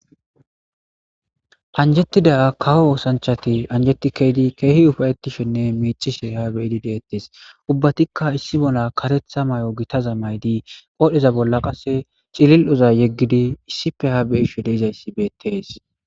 Anjetida kawo osanchati anjeti ke'idi keehi ufa'etishene miicishe ha be'idi de'etes ubbatika issi mala karetha mayo gitaza mayidi qoodheza bolla qasse cililoza yegidi issipe ha be'ishe de'izaysi bettees.